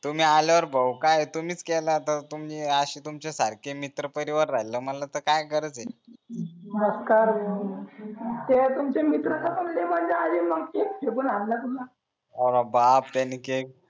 तुम्ही आल्यावर पाहू काय तुमीच केला तर तुम्ही तुमच्या सारखे मित्र परिवार राहील म्हणल तर काय गरज आहे तुमचे मित्र तर मजा आली अर बापरे त्यांनी केस